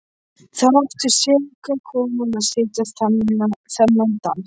Þar átti seka konan að sitja þennan dag.